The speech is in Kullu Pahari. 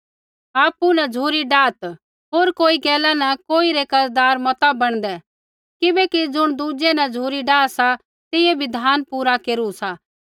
आपु न झ़ुरी डाहत् होर कोई गैला न कोई रै कर्ज़दार मता बणदै किबैकि ज़ुण दुज़ै न झ़ुरी डाह सा तेइयै बिधान पूरा केरु सा